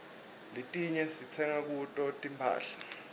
letiinye sitsenga kuto tinphahla